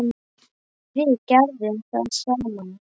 Við gerðum það saman.